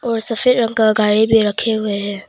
और सफेद रंग का गाड़ी भी रखे हुए हैं।